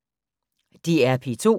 DR P2